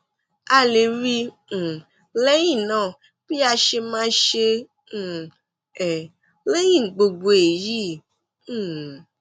a lè rí i um lẹyìn náà bí a ṣe máa ṣe um é lẹyìn gbogbo èyí um